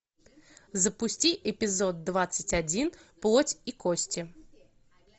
запусти эпизод двадцать один плоть и кости